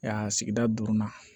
sigida duurunan